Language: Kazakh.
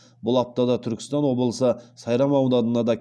бұл аптада түркістан облысы сайрам ауданында да